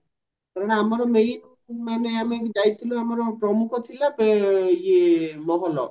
କାରଣ ଆମର ମାନେ ଯାଇଥିଲୁ ଆମେ ଆମର ପ୍ରମୁଖ ଥିଲା ଇଏ ମହଲ